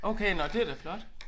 Okay nåh det da flot